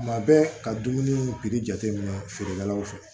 Tuma bɛɛ ka dumuni jateminɛ feerekɛlaw fɛ